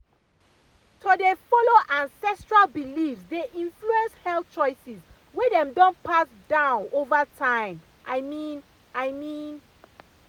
to dey follow ancestral beliefs dey influence health choices wey dem don pass down over time i mean i mean.